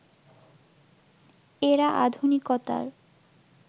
এরা আধুনিকতার